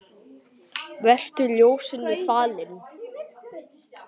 Vertu ljósinu falinn.